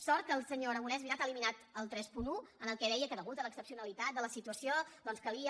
sort que el senyor aragonès és veritat ha eliminat el trenta un en què deia que a causa de l’excepcionalitat de la situació doncs calia